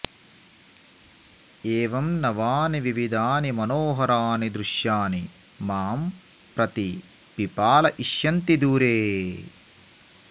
एवं नवानि विविधानि मनोहराणि दृश्यानि मां प्रतिपिपालयिषन्ति दूरे